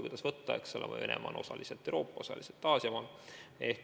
Kuidas võtta, eks ole, Venemaa on osaliselt Euroopa, osaliselt Aasia maa.